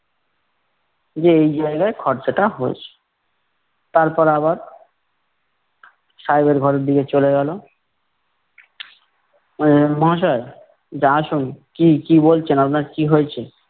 এই যে এই জায়গায় খরচাটা হয়েছে। তারপর আবার সাহেবের ঘরের দিকে চলে গেলো। আহ মহাশয়! বলছে আসুন। কি কি বলচেন? আপনার কি হয়েচে?